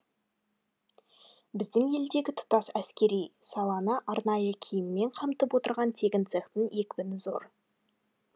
біздің елдегі тұтас әскери саланы арнайы киіммен қамтып отырған тігін цехының екпіні зор